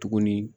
Tuguni